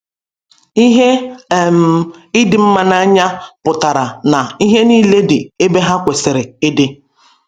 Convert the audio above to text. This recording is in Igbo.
Ihe um ịdị mma n’anya pụtara na ihe nile dị ebe ha kwesịrị ịdị.